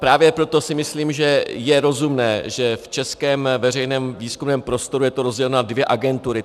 Právě proto si myslím, že je rozumné, že v českém veřejném výzkumném prostoru je to rozděleno na dvě agentury.